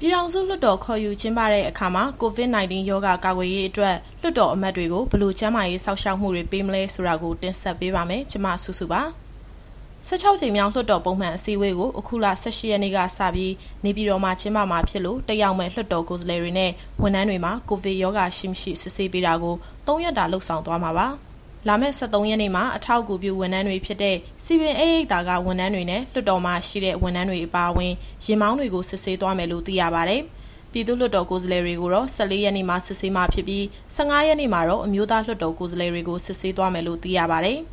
ပြည်ထောင်စုလွှတ်တော်ခေါ်ယူ ကျင်းပတဲ့အခါမှာ COVID-19 ရောဂါကာကွယ်ရေးအတွက် လွှတ်တော်အမတ်တွေကို ဘယ်လိုကျန်းမာရေး စောင့်ရှောက်မှုတွေ ပေးမလဲဆိုတာကို တင်ဆက်ပေးပါမယ်။ ဒီအကြောင်း ဗွီအိုအေမြန်မာပိုင်း သတင်းထောက် မစုစုက ပြောပြပေးပါမယ်။ ၁၆ ကြိမ်မြောက် လွှတ်တော်ပုံမှန်အစည်းအဝေးကို အခုလ ၁၈ ရက်နေ့ကစပြီး နေပြည်တော်မှာ ကျင်းပမှာဖြစ်လို့ တက်ရောက်မယ့် လွှတ်တော်ကိုယ်စားလှယ်တွေနဲ့ ဝန်ထမ်းတွေမှာ ကိုဗစ်ရောဂါရှိ၊ မရှိ စစ်ဆေးပေးတာကို သုံးရက်တာ လုပ်ဆောင်သွားမှာပါ။ လာမယ့် ၁၃ ရက်နေ့မှာ အထောက်အကူပြု ဝန်ထမ်းတွေဖြစ်တဲ့ စည်ပင်ဧည့်ရိပ်သာက ဝန်ထမ်းတွေနဲ့ လွှတ်တော်မှာ ရှိတဲ့ဝန်ထမ်းတွေအပါအဝင် ယာဉ်မောင်းတွေကို စစ်ဆေးသွားမယ်လို့ သိရပါတယ်။ ပြည်သူ့လွှတ်တော်ကိုယ်စားလှယ်တွေကိုတော့ ၁၄ ရက်နေ့မှာ စစ်ဆေးမှာ ဖြစ်ပြီး ၁၅ ရက်နေ့မှာတော့ အမျိုးသားလွှတ်တော်ကိုယ်စားလှယ်တွေကို စစ်ဆေးသွားမယ်လို့ သိရပါတယ်။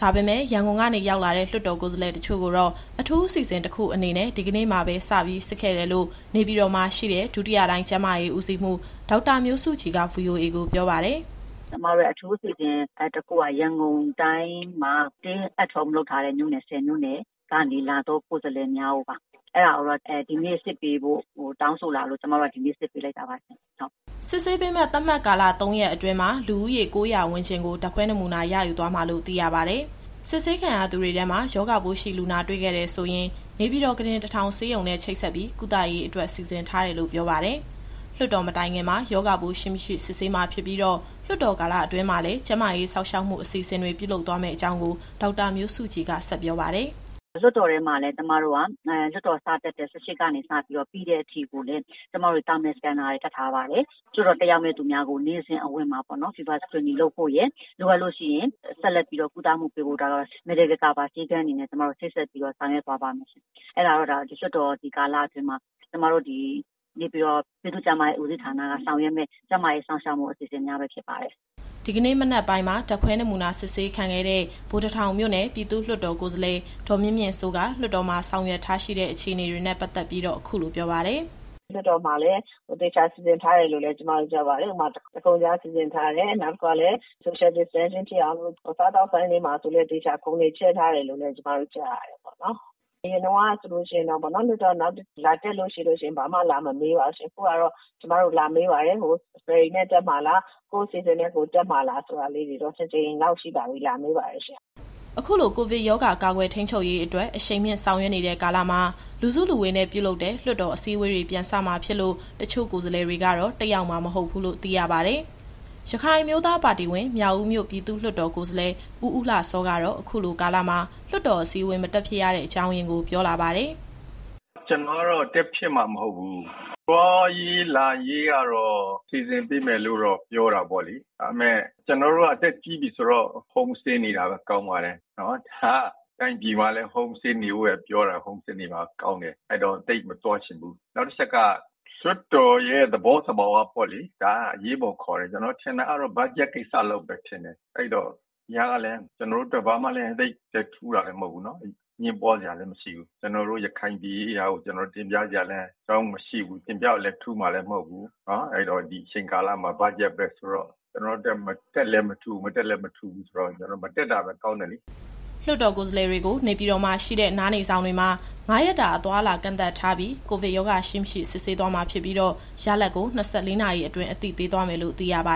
ဒါပေမဲ့ ရန်ကုန်ကနေ ရောက်လာတဲ့ လွှတ်တော်ကိုယ်စားလှယ် တချို့ကိုတော့ အထူးအစီအစဉ် တခုအနေနဲ့ ဒီကနေ့မှာပဲ စပြီးစစ်ခဲ့တယ်လို့ နေပြည်တော်မှာရှိတဲ့ ဒုတိယတိုင်းကျန်းမာရေးဦးစီးမှူး ဒေါက်တာမျိုးစုကြည်က VOA ကိုပြောပါတယ်။ “ကျမတို့ရဲ့ အထူးအစီအစဉ်တခုက ရန်ကုန်တိုင်းမှာ Stay at Home လုပ်ထားတဲ့မြို့နယ် ၁၀ မြို့နယ်ကနေ လာသောကိုယ်စားလှယ်များကိုပါ။ အဲဒါကိုတော့ ဒီနေ့စစ်ပေးဖို့တောင်းဆိုလာလို့ ကျမတို့က ဒီနေ့စစ်ပေးလိုက်တာပါရှင့်။” စစ်ဆေးပေးမယ့် သတ်မှတ်ကာလ ၃ ရက်အတွင်းမှာ လူဦးရေ ၉၀၀ ဝန်းကျင်ကို ဓာတ်ခွဲနမူနာယူသွားမှာလို့ သိရပါတယ်။ စစ်ဆေးခံရသူတွေထဲမှာ ရောဂါပိုးရှိလူနာတွေ့ခဲ့တယ်ဆိုရင် နေပြည်တော်ခုတင် ၁,၀၀၀ ဆေးရုံနဲ့ ချိတ်ဆက်ပြီး ကုသရေးအတွက် စီစဉ်ထားတယ်လို့ပြောပါတယ်။ လွှတ်တော်မတိုင်ခင်မှာ ရောဂါပိုးရှိ၊ မရှိ စစ်ဆေးမှာဖြစ်ပြီးတော့ လွှတ်တော်ကာလအတွင်းမှာလည်း ကျန်းမာရေးစောင့်ရှောက်မှု အစီအစဉ်တွေ ပြုလုပ်သွားမယ့်အကြောင်းကို ဒေါက်တာမျိုးစုကြည်က ဆက်ပြောပါတယ်။ “လွှတ်တော်ထဲမှာလည်း ကျမတို့က လွှတ်တော်စတက်တဲ့နေ့ ၁၈ ကနေစပြီးတော့ ပြီးတဲ့အထိကိုလည်း ကျမတို့ Thermal Scanner တွေ တပ်ထားပါတယ်။ လွှတ်တော်တက်ရောက်မယ့်သူများကို နေ့စဉ်အဝင်မှာ Fever Screening လုပ်ဖို့ရယ်၊ လိုအပ်လို့ရှိရင် ဆက်လက်ပြီးတော့ ကုသမှုပေးဖို့ကတော့ Medical Cover ဆေးခန်းတွေနဲ့ချိတ်ဆက်ပြီးတော့ ဆောင်ရွက်သွားမယ်။” ဒီကနေ့မနက်ပိုင်းမှာ ဓာတ်ခွဲနမူနာ စစ်ဆေးခံခဲ့တဲ့ ဗိုလ်တထောင်မြို့နယ် ပြည်သူ့လွှတ်တော်ကိုယ်စားလှယ် ဒေါ်မြင့်မြင့်စိုးက လွှတ်တော်မှာ ဆောင်ရွက်ထားရှိတဲ့ အခြေအနေတွေနဲ့ပတ်သက်ပြီးတော့ အခုလိုပြောပါတယ်။ “လွှတ်တော်မှာလည်း သေချာစီစဉ်ထားတယ်လို့ ကျမတို့ကြားပါတယ်။ ဥပမာ တခုံခြားစီစဉ်ထားတယ်။ နောက်တခုကလည်း Social Distancing ဖြစ်အောင်လို့ စားသောက်ဆိုင်တွေမှာ သေချာခုံတွေ ချဲထားတယ်လို့လည်း ကျမတို့ကြားရတယ်ပေါ့နော်။ အရင်တုန်းကဆိုရင်တော့ လွှတ်တော်လာတက်လို့ရှိရင် ဘာမှလာမမေးပါဘူးရှင့်။ အခုကတော့ ကျမတို့ကိုလာမေးပါတယ်။ ဖယ်ရီနဲ့တက်မှာလား၊ ကိုယ့်အစီအစဉ်နဲ့ကိုယ် တက်မှာလားဆိုတာလေးတွေတော့ နှစ်ကြိမ်လောက်ရှိပါပြီ လာမေးပါတယ်ရှင့်။” အခုလို ကိုဗစ်ရောဂါကာကွယ် ထိန်းချုပ်ရေးအတွက် အရှိန်မြှင့်ဆောင်ရွက်နေတဲ့ကာလမှာ လူစုလူဝေးနဲ့ပြုလုပ်တဲ့ လွှတ်တော်အစည်းအဝေးတွေ ပြန်စမှာဖြစ်လို့ တချို့ကိုယ်စားလှယ်တွေကတော့ တက်ရောက်မှာ မဟုတ်ဘူးလို့ သိရပါတယ်။ ရခိုင်အမျိုးသားပါတီဝင် မြောက်ဦးမြို့ ပြည်သူ့လွှတ်တော်ကိုယ်စားလှယ် ဦးဦးလှစောကတော့ အခုလိုကာလမှာ လွှတ်တော်အစည်းအဝေး မတက်ဖြစ်ရတဲ့အကြောင်းရင်းကို ပြောလာပါတယ်။ “ကျနော်ကတော့ တက်ဖြစ်မှာ မဟုတ်ဘူး။ သွားရေးလာရေးကတော့ စီစဉ်ပေးမယ်လို့ ပြောတာပေါ့လေ။ ဒါပေမဲ့ ကျနော်တို့က အသက်ကြီးပြီဆိုတော့ Home Stay နေတာပဲကောင်းပါတယ်။ ဒီဟာက တိုင်းပြည်မှာလည်း Home Stay နေဖို့ပဲပြောတာ Home Stay နေတာကောင်းတယ်။ အဲတော့ သိပ်မသွားချင်ဘူး။ နောက်တချက်က လွှတ်တော်ရဲ့သဘောသဘာဝပေါ့လေ။ ဒါကအရေးပေါ်ခေါ်တယ်။ ကျနော်ထင်တာကတော့ ဘတ်ဂျက်ကိစ္စလောက်ပဲထင်တယ်။ ဒီဟာကလည်း ကျနေ်ာတို့အတွက် ဘာမှလည်းသိပ်ပြီးထူးတာ မဟုတ်ဘူးပေါ့နော်။ အငြင်းပွားစရာလည်း မရှိဘူး။ ကျနော်တို့ ရခိုင်ပြည်ရေးရာကို တင်ပြစရာလည်း အကြောင်းမရှိဘူး။ တင်ပြတော့လည်း ထူးမှာလည်းမဟုတ်ဘူး။ အဲတော့ ဒီအချိန်ကာလမှာ ဘတ်ဂျက်ပဲဆိုတော့ ကျနော့်အတွက် တက်လည်းမထူး၊ မတက်လည်းမထူးဘူးဆိုတော့ မတက်တာပဲကောင်းတယ်လေ။” လွှတ်တော်ကိုယ်စားလှယ်တွေကို နေပြည်တော်မှာရှိတဲ့ နားနေဆောင်တွေမှာ ၅ ရက်တာအသွားအလာကန့်သတ်ထားပြီး ကိုဗစ်ရောဂါရှိ၊ မရှိ စစ်ဆေးသွားမှာ ဖြစ်ပြီးတော့ ရလဒ်ကို ၂၄ နာရီအတွင်း အသိပေးသွားမယ်လို့ သိရပါ